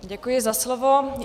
Děkuji za slovo.